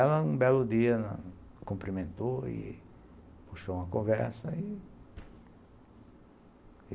Ela, um belo dia, cumprimentou e puxou uma conversa e